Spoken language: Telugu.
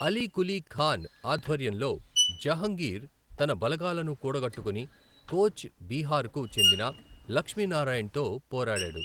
అలీ కులీ ఖాన్ ఆధ్వర్యంలో జహంగీర్ తన బలగాలను కూడగట్టుకుని, కోచ్ బీహార్కు చెందిన లక్ష్మీ నారాయణ్తో పోరాడాడు.